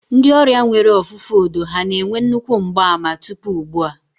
Ndị ọrịa nwere ọfụfụ odo ha na-enwe nnukwu mgbaàmà tupu ugbu a?